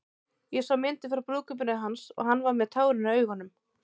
Ég sá myndir frá brúðkaupinu hans og hann var með tárin í augunum.